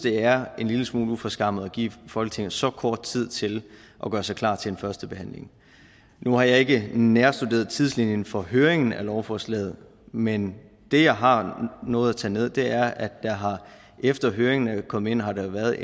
er en lille smule uforskammet at give folketinget så kort tid til at gøre sig klar til en første behandling nu har jeg ikke nærstuderet tidslinjen for høringen af lovforslaget men det jeg har nået at tage ned er at der efter høringen er kommet ind har været